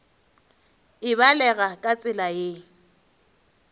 e balega ka tsela ye